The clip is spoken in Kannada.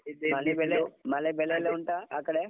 ಮಳೆ ಬೆಳೆಯೆಲ್ಲ ಉಂಟಾ ಆ ಕಡೆ?